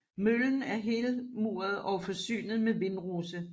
Møllen er helmuret og forsynet med vindrose